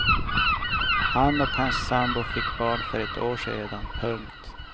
Han och hans sambo fick barn för ett år sedan. punkt